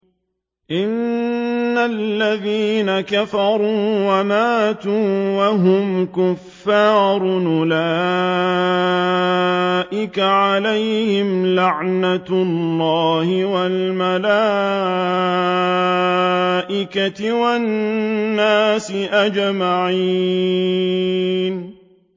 إِنَّ الَّذِينَ كَفَرُوا وَمَاتُوا وَهُمْ كُفَّارٌ أُولَٰئِكَ عَلَيْهِمْ لَعْنَةُ اللَّهِ وَالْمَلَائِكَةِ وَالنَّاسِ أَجْمَعِينَ